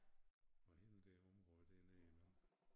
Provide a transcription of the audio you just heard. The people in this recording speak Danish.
Og hele det område dernede nu